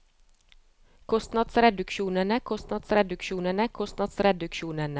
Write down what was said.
kostnadsreduksjonene kostnadsreduksjonene kostnadsreduksjonene